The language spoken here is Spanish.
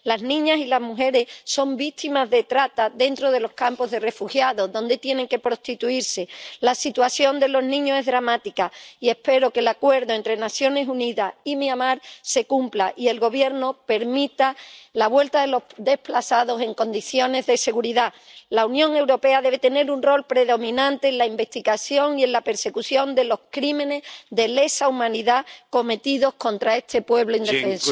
Las niñas y las mujeres son víctimas de trata dentro de los campos de refugiados, donde tienen que prostituirse. La situación de los niños es dramática, y espero que el acuerdo entre las Naciones Unidas y Myanmar se cumpla y el gobierno permita la vuelta de los desplazados en condiciones de seguridad. La Unión Europea debe tener un rol predominante en la investigación y en la persecución de los crímenes de lesa humanidad cometidos contra este pueblo indefenso.